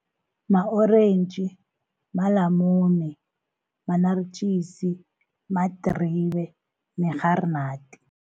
Ma-orentji, malamune, manaritjisi, madribe nerharinadi.